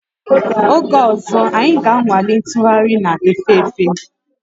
Oge ọzọ, anyị ga-anwale ntụgharị na-efe efe